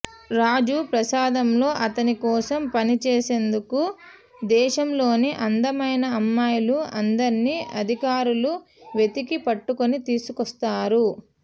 రాజు ప్రసాదంలో అతని కోసం పనిచేసేందుకు దేశంలోని అందమైన అమ్మాయిలు అందర్నీ అధికారులు వెతికి పట్టుకొని తీసుకొస్తారు